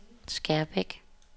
Skærbæk